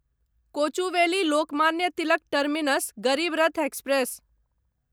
Kochuveli Lokmanya Tilak terminus Garib Rath express